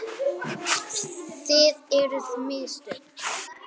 Það eru mistök.